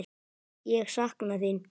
Ég sakna þín.